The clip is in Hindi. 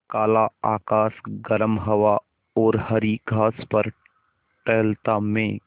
काला आकाश गर्म हवा और हरी घास पर टहलता मैं